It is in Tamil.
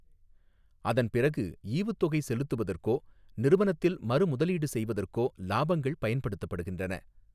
அதன் பிறகு ஈவுத்தொகை செலுத்துவதற்கோ நிறுவனத்தில் மறுமுதலீடு செய்வதற்கோ லாபங்கள் பயன்படுத்தப்படுகின்றன.